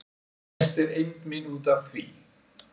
Mest er eymd mín út af því